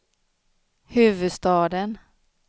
huvudstaden